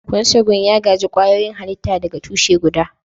Consanguine ya gaji kwayoyin halitta daga tushe guda.